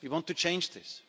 We want to change this.